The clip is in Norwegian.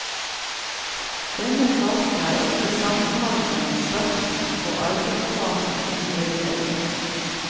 Denne fasen er ofte sammenfallende med starten på arbeidsfasen i veiledningen.